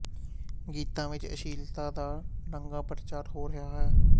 ਗੀਤਾਂ ਵਿੱਚ ਅਸ਼ਲੀਲਤਾ ਦਾ ਨੰਗਾ ਪ੍ਰਚਾਰ ਹੋ ਰਿਹਾ ਹੈ